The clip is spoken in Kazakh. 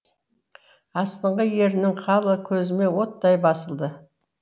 астыңғы ерінің қалы көзіме оттай басылды